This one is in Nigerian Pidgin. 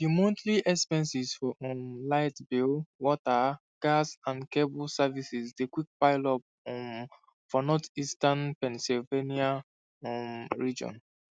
di monthly expenses for um light bill water gas and cable services dey quick pile up um for northeastern pennsylvania um region